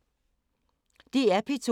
DR P2